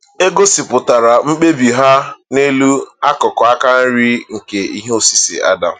E gosipụtara mkpebi ha n’elu akụkụ aka nri nke ihe osise Adam.